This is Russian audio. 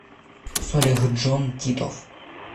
солихджон титов